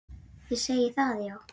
Þið segið það, já.